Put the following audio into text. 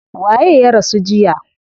Waye ya rasu jiya?